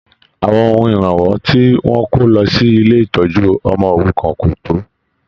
Àwọn ohun iranwọ ti wọn kò lọ sí ilé ìtọjú ọmọ òrukàn ko tó.